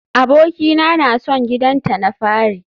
Abokina na son gidanta na fari